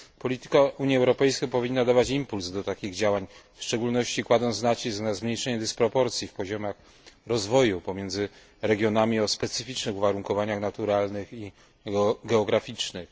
Polityka Unii Europejskiej powinna dawać impuls do takich działań, w szczególności kładąc nacisk na zmniejszenie dysproporcji w poziomach rozwoju pomiędzy regionami o specyficznych uwarunkowaniach naturalnych i geograficznych.